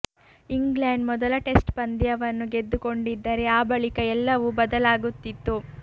England ಮೊದಲ test ಪಂದ್ಯವನ್ನು ಗೆದ್ದುಕೊಂಡಿದ್ದರೆ ಆ ಬಳಿಕ ಎಲ್ಲವೂ ಬದಲಾಗುತ್ತಿತ್ತು